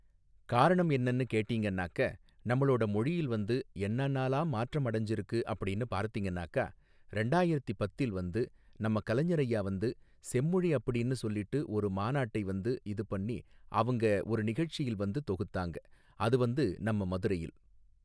காரணம் என்னன்னு கேட்டீங்கன்னாக்க நம்மளோட மொழியில் வந்து என்னானாலாம் மாற்றம் அடைஞ்சிருக்கு அப்படின்னு பார்த்திங்னாக்கா ரெண்டாயிரத்தி பத்தில் வந்து நம்ம கலைஞர் ஐயா வந்து செம்மொழி அப்படின்னு சொல்லிட்டு ஒரு மாநாட்டை வந்து இது பண்ணி அவங்க ஒரு நிகழ்ச்சி வந்து தொகுத்தாங்க அது வந்து நம்ம மதுரையில்